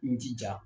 N jija